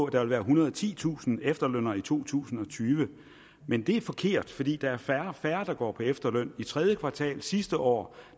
der vil være ethundrede og titusind efterlønnere i to tusind og tyve men det er forkert fordi der er færre og færre der går på efterløn i tredje kvartal sidste år